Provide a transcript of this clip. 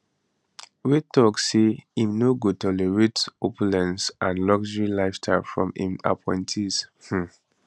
wey tok say im no go tolerate opulence and luxury lifestyle from im appointees um